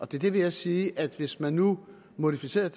det vil jeg sige at hvis man nu modificerede